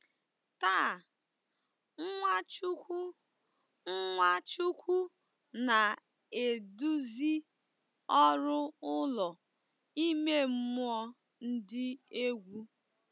Taa, Nwachukwu Nwachukwu na-eduzi ọrụ ụlọ ime mmụọ dị egwu.